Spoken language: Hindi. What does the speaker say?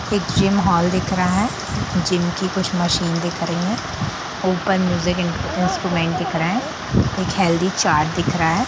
एक जिम हॉल दिख रहा है| जिम की कुछ मशीन दिख रही है ऊपर म्यूजिक इंट्रू-इंस्ट्रूमेंट दिख रहा है एक हेल्थी चार्ट दिख रहा है।